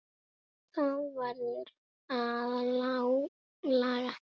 Það verður að laga.